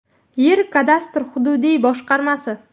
Yer kadastri hududiy boshqarmasi.